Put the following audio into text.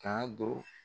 K'a don